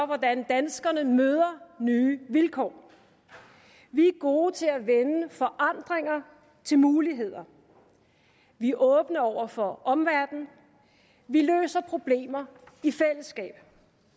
hvordan danskerne møder nye vilkår vi er gode til at vende forandringer til muligheder vi er åbne over for omverdenen vi løser problemer i fællesskab